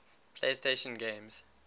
playstation games